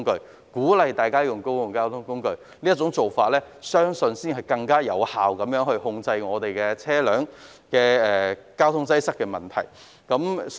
我相信鼓勵大家使用公共交通工具，才能更有效地控制交通擠塞的問題。